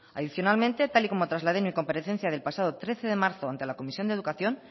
adicionalmente tal y como trasladé en mi comparecencia del pasado trece de marzo ante la comisión de educación